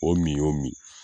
O min y'o min.